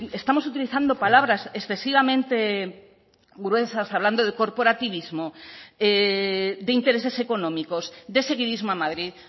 estamos utilizando palabras excesivamente gruesas hablando de corporativismo de intereses económicos de seguidismo a madrid